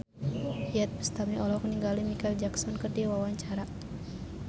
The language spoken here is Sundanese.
Iyeth Bustami olohok ningali Micheal Jackson keur diwawancara